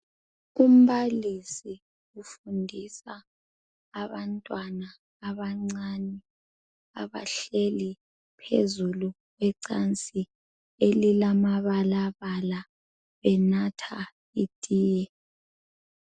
Umbalisi ufundisa abantwana abancane abahleli phezulu kwecansi elilamabalabala enatha itiye.